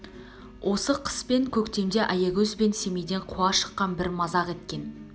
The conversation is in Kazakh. осы қыс пен көктемде аягөз бен семейден қуа шыққан бір мазақ еткен